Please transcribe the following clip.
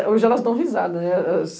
Hoje elas dão risada, né?